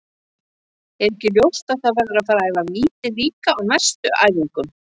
Er ekki ljóst að það verður að fara að æfa víti líka á næstu æfingum?